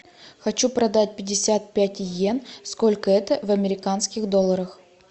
хочу продать пятьдесят пять йен сколько это в американских долларах